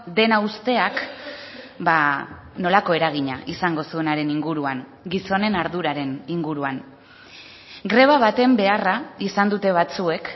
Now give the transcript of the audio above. dena uzteak nolako eragina izango zuenaren inguruan gizonen arduraren inguruan greba baten beharra izan dute batzuek